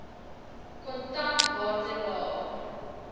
kontan waarde laer